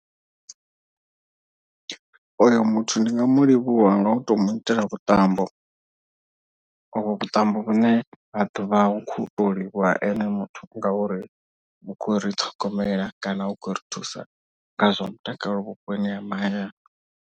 Oyo muthu ndi nga mu livhuwa nga u to mu itela vhuṱambo ovho vhuṱambo vhune ha ḓo vha hu khou to livhuwa ene muthu. Ngauri u khou ri ṱhogomela kana u khou ri thusa nga zwa mutakalo vhuponi ha mahayani.